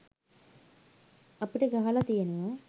අපිට ගහල තියෙනව